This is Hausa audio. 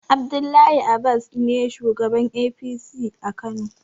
Abdullahi abas ne shugaban APC a kano